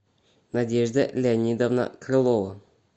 надежда леонидовна крылова